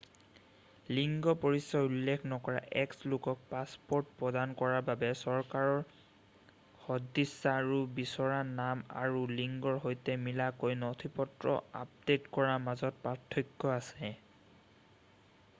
লিংগ পৰিচয় উল্লেখ নকৰা x লোকক পাছপ'ৰ্ট প্ৰদান কৰাৰ বাবে চৰকাৰৰ সদিচ্ছা আৰু বিচৰা নাম আৰু লিংগৰ সৈতে মিলাকৈ নথিপত্ৰ আপডে'ট কৰাৰ মাজত পাৰ্থক্য আছে।